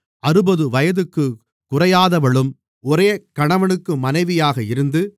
அறுபது வயதுக்குக் குறையாதவளும் ஒரே கணவனுக்கு மனைவியாக இருந்து